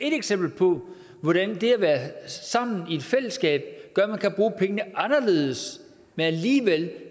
et eksempel på hvordan det at være sammen i et fællesskab gør at man kan bruge pengene anderledes men alligevel